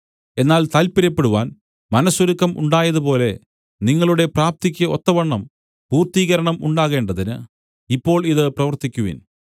എന്നാൽ താല്‍പര്യപ്പെടുവാൻ മനസ്സൊരുക്കം ഉണ്ടായതുപോലെ നിങ്ങളുടെ പ്രാപ്തിക്കു ഒത്തവണ്ണം പൂർത്തീകരണം ഉണ്ടാകേണ്ടതിന് ഇപ്പോൾ ഇത് പ്രവൃത്തിക്കുവിൻ